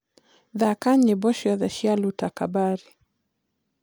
thaka nyĩmbo cĩothe cĩa luta kabari